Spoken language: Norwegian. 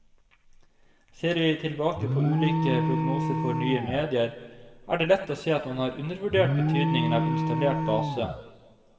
Ser vi tilbake på ulike prognoser for nye medier, er det lett å se at man har undervurdert betydningen av installert base.